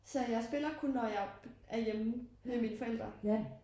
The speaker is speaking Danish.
Så jeg spiller kun når jeg er hjemme ved mine forældre